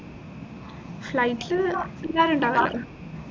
flight ലു എല്ലാരുണ്ടാവുല്ലോ